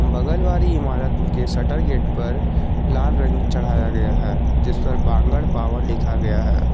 बगल वाली इमारत के शटर गेट पर लाल रंग चढ़ाया गया है जिस पर बांगड़ पावर लिखा गया है।